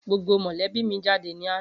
Gbogbo mọ̀lébí mi jáde ní àná